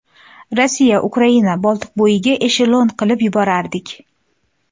Rossiya, Ukraina, Boltiqbo‘yiga eshelon qilib yuborardik.